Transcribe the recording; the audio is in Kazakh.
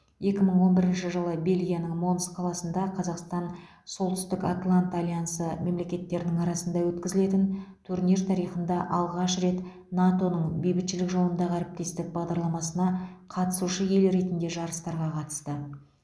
екі мың он бірінші жылы бельгияның монс қаласында қазақстан солтүстік атлант альянсы мемлекеттерінің арасында өткізілетін турнир тарихында алғаш рет нато ның бейбітшілік жолындағы әріптестік бағдарламасына қатысушы ел ретінде жарыстарға қатысты